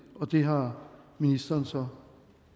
og det har ministeren så